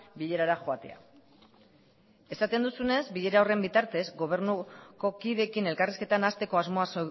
bilerara joatea esaten duzunez bilera horren bitartez gobernuko kideekin elkarrizketan nahasteko asmoa